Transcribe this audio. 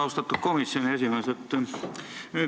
Austatud komisjoni esimees!